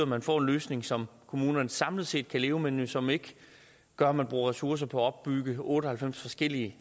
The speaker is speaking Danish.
man får en løsning som kommunerne samlet set kan leve med men som ikke gør at man bruger ressourcer på at opbygge otte og halvfems forskellige